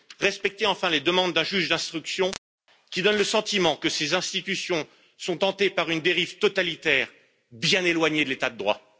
Respectez enfin les demandes d'un juge d'instruction qui donne le sentiment que ces institutions sont tentées par une dérive totalitaire, bien éloignée de l'état de droit.